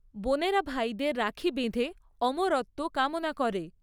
বোনেরা ভাইদের রাখি বেঁধে অমরত্ব কামনা করে।